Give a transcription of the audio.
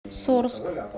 сурск